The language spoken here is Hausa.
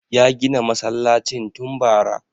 Ya gina masallacin tun bara